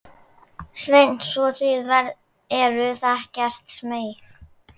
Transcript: Sveinn: Svo þið eruð ekkert smeyk?